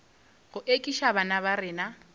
go ekiša bana ba rena